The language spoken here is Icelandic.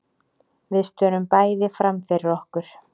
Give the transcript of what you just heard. Við störum bæði framfyrir okkur.